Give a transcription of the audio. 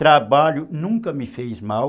Trabalho nunca me fez mal.